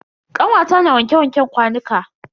Kanwata na wanke wanken kwanuka.